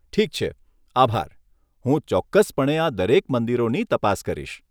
ઠીક છે, આભાર, હું ચોક્કસપણે આ દરેક મંદિરોની તપાસ કરીશ!